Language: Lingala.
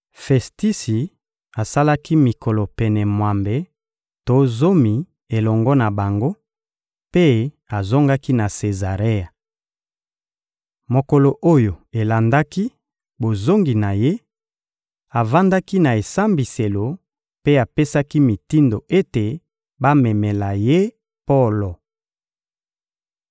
Festisi asalaki mikolo pene mwambe to zomi elongo na bango, mpe azongaki na Sezarea. Mokolo oyo elandaki bozongi na ye, avandaki na esambiselo mpe apesaki mitindo ete bamemela ye Polo.